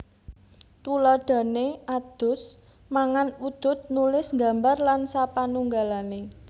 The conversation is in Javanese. Tuladhané adus mangan udud nulis nggambar lan sapanunggalané